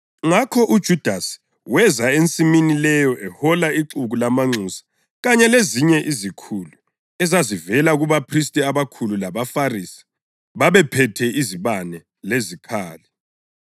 Ngakho uJudasi weza ensimini leyo, ehola ixuku lamanxusa kanye lezinye izikhulu ezazivela kubaphristi abakhulu labaFarisi. Babephethe izibane lezikhali.